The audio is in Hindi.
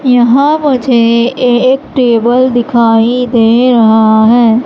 यहां मुझे एक टेबल दिखाई दे रहा है।